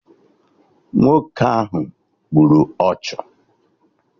Nwoke ahụ gburu ọchụ